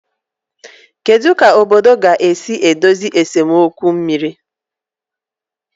Kedu ka obodo ga-esi edozi nsemokwu mmiri?